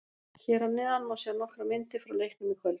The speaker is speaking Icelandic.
Hér að neðan má sjá nokkrar myndir frá leiknum í kvöld